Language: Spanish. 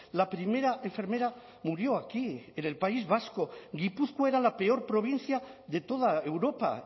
la primera enfermera murió aquí en el país vasco gipuzkoa era la peor provincia de toda europa